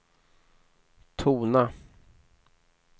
tona